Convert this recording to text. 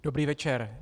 Dobrý večer.